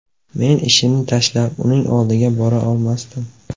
Men ishimni tashlab uning oldiga bora olmasdim.